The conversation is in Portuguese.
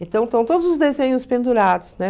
Então, estão todos os desenhos pendurados, né?